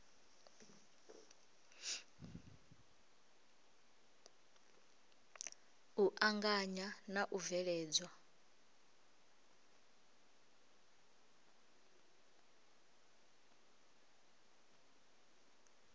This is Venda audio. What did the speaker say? u anganya na u bveledzwa